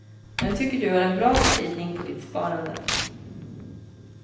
Jag tycker du har en bra spridning på ditt sparande.